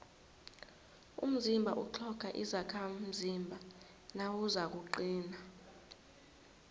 umzimba utlhoga izakhamzimba nawuzakuqina